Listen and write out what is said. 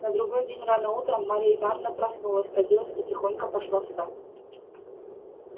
на другой день рано утром марья ивановна проснулась оделась и тихонько пошла в сад